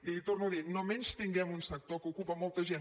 i li ho torno a dir no menystinguem un sector que ocupa molta gent